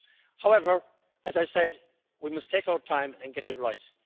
However, as I said, we must take our time and get it right.